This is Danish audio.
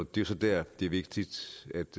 det er så der det er vigtigt